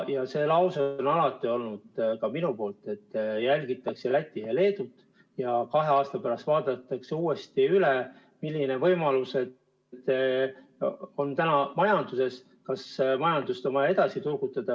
Ja see põhimõte on alati olnud, ka minu poolt öelduna, et jälgitakse Lätit ja Leedut ning kahe aasta pärast vaadatakse uuesti üle, millised võimalused on, kas majandust on vaja edasi turgutada.